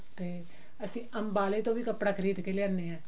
ਤੇ ਅਸੀਂ ਅਮਬਾਲੇ ਤੋਂ ਵੀ ਕੱਪੜਾ ਖਰੀਦ ਕੇ ਲਿਆਉਂਦੇ ਹਾਂ